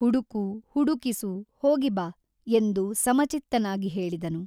ಹುಡುಕು ಹುಡುಕಿಸು ಹೋಗಿ ಬಾ ಎಂದು ಸಮಚಿತ್ತನಾಗಿ ಹೇಳಿದನು.